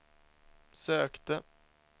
sökte